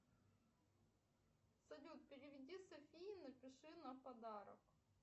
салют переведи софии напиши на подарок